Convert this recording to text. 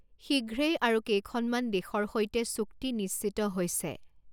শীঘ্ৰেই আৰু কেইখনমান দেশৰ সৈতে চুক্তি নিশ্চিত হৈছে।